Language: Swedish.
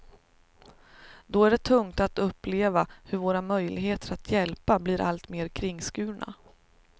Då är det tungt att uppleva hur våra möjligheter att hjälpa blir alltmer kringskurna.